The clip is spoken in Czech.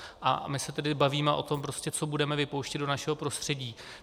A my se tady bavíme o tom, co budeme vypouštět do našeho prostředí.